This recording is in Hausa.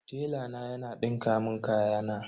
Tela na yana dinka mun kayana.